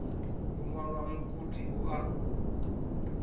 u ṅwala mugudi u a